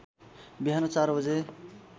बिहान ४ बजे